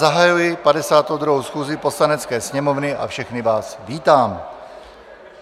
Zahajuji 52. schůzi Poslanecké sněmovny a všechny vás vítám.